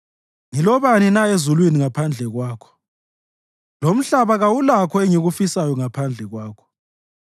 Ngilobani na ezulwini ngaphandle kwakho? Lomhlaba kawulakho engikufisayo ngaphandle kwakho.